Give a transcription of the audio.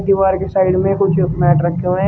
दीवार के साइड में कुछ मैट रखे हैं।